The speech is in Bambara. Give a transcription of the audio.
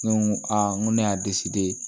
Ne ko a n ko ne y'a de